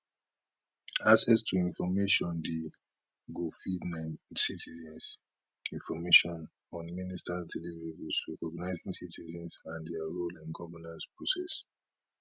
access to information di go feed citizens information on ministers deliverables recognising citizens and dia role in governance process